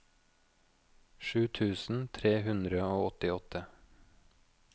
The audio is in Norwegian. sju tusen tre hundre og åttiåtte